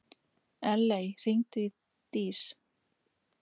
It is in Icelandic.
Elley, hringdu í Dís.